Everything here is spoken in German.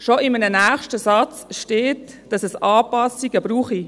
Schon in einem nächsten Satz steht, dass es Anpassungen brauche.